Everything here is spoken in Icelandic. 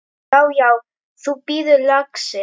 Já, já. þú bíður, lagsi!